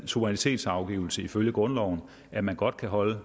suverænitetsafgivelse ifølge grundloven at man godt kan holde